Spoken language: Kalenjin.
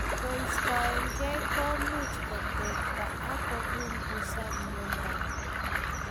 Keistokei kumuch kotekta ak kopungusan miondap